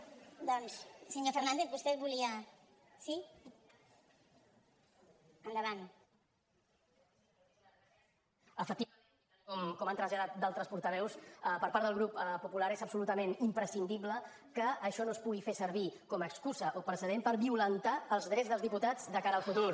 efectivament com han traslladat d’altres portaveus per part del grup popular és absolutament imprescindible que això no es pugui fer servir com a excusa o precedent per violentar els drets dels diputats de cara al futur